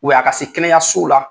a ka se kɛnɛyasow la